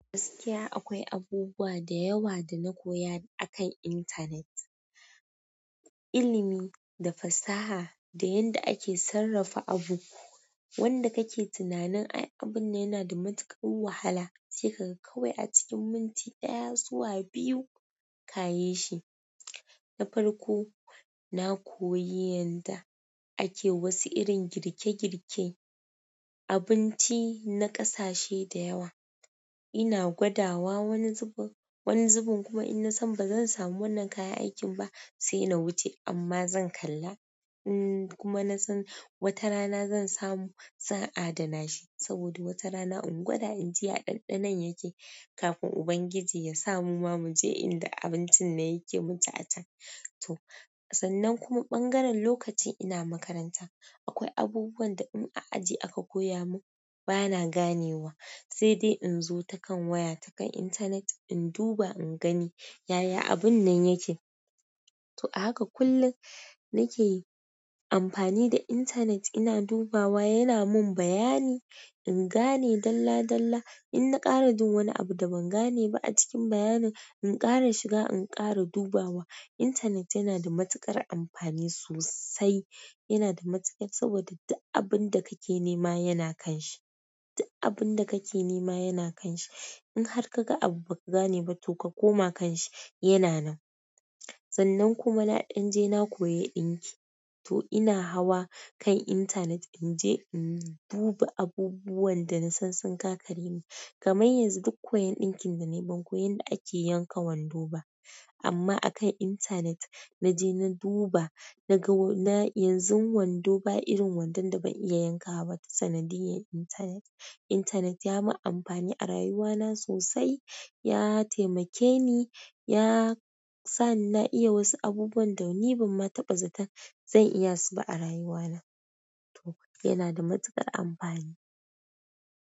Gaskiya akwai abubuwa da yawa da na koya akan intanet. Ilmi, da fasaha, da yanda ake sarrafa abu. Wanda kake tunanin "ai, abun yana da matuƙar wahala", sai ka ga kawai a cikin minti ɗaya zuwa biyu, ka yishi. Na farko na koyi yanda ake wasu irin girke-girke, abinci na ƙasashe da yawa ina gwadawa wani zubin, wani zubin kuma in na san ba zan samu wannan kayan aikin ba, sai na wuce amma zan kalla. Kuma na san wata rana zan samu, zan adana shi. Saboda wata rana in gwada in ji ya ɗanɗanon yake, kafin Ubangiji ya sa mu ma mu je inda abincin nan yake mu ci a can. To, sannan kuma ɓangaren lokacin ina makaranta, akwai abubuwan da in a aji aka koya mun, bana ganewa. Sai dai in zo ta kan waya, ta kan intanet, in duba in gani "yaya abun nan yake". To, a haka kullum nake amfani da intanet ina dubawa, yana mun bayani, in gane dalla-dalla. In na ƙara jin wani abu da ban gane ba a cikin bayanin, in ƙara shiga in ƙara dubawa. Intanet yana da matuƙar amfani sosai. Yana da matuƙar, saboda duk abun da kake nema yana ƙanshi. Duk abun da kake nema yana ƙanshi. In har kaga abu ba ka gane ba to ka koma kanshi yana nan sannan kuma na ɗan je na koyi ɗinki. To ina hawa kan intanet, in je in duba abubuwan da nasan sun gagare ni. Kamar yanzu duk koyon ɗinkin da na yi, ban koyi yadda ake yanka wando ba. Amma akan intanet, na je na duba, na ga yanzu wando ba irin wandon da ban iya yankawa ba ta sanadiyar intanet. Intanet ya mun amfani a rayuwana sosai, ya taimake ni, ya sa na iya wasu abubuwan da ni ban ma taɓa zaton zan iya su ba a rayuwana. To, yana da matuƙar amfani.